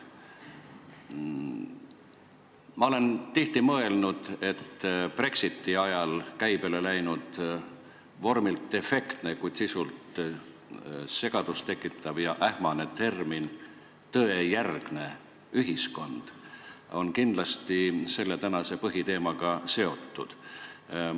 Ma olen tihti mõelnud, et Brexiti ajal käibele läinud vormilt efektne, kuid sisult segadust tekitav ja ähmane termin "tõejärgne ühiskond" on kindlasti tänase põhiteemaga seotud.